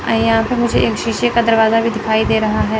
और यहां पर मुझे एक शीशे का दरवाजा भी दिखाई दे रहा है।